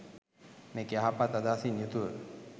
මේක යහපත් අදහසින් යුතුව